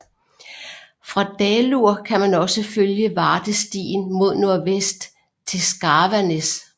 Fra Dalur kan man også følge vardestien mod nordvest til Skarvanes